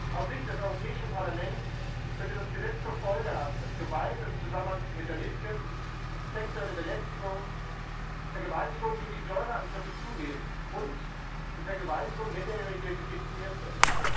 Aus Sicht des Europäischen Parlaments könnte das Gesetz zur Folge haben, dass Gewalt im Zusammenhang mit der Mitgift, sexuelle Belästigung, Vergewaltigung sowie Säureangriffe zunehmen und die Vergewaltigung Minderjähriger legitimiert wird.